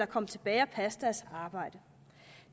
komme tilbage og passe deres arbejde